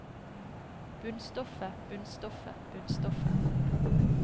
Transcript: bunnstoffet bunnstoffet bunnstoffet